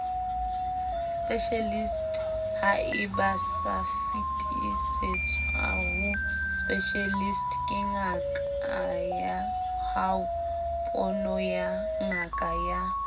specialist haebaosafetisetswaho specialist kengakayahao ponoyangakaya